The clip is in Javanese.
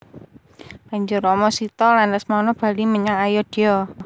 Banjur Rama Sita lan Lesmana bali menyang Ayodya